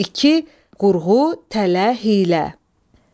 İki, qurğu, tələ, hiylə.